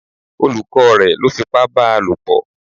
Olùkọ́ rẹ̀ lọ́ fipá báa lòpọ̀